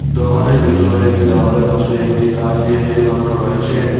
দোকানের ভিতরে দেয়ালের পাশে একটি কাঠ দিয়ে রেল বানানো রয়েছে।